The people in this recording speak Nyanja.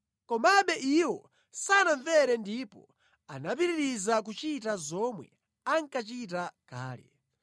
Komabe iwo sanamvere ndipo anapitiriza kuchita zomwe ankachita kale.